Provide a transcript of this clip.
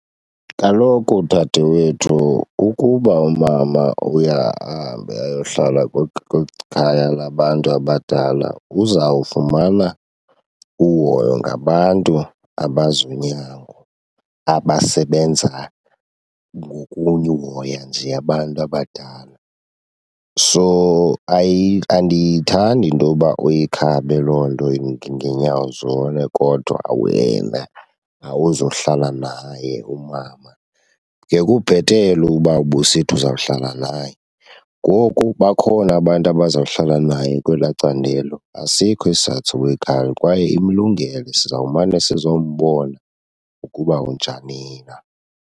Kaloku dadewethu ukuba umama uye ahambe ayohlala kwikhaya labantu abadala uzawufumana uhoyo ngabantu abazi unyango abasebenza ngokunye uhoya nje abantu abadala. So andiyithandi into yoba uyikhabe loo nto ngeenyawo zone kodwa wena awuzuhlala naye umama. Ngekubhetele uba ubusithi uzawuhlala naye. Ngoku bakhona abantu abazawuhlala naye kwelaa candelo, asikho isizathu soba uyikhabe kwaye imlungele. Sizawumane sizombona ukuba unjani na.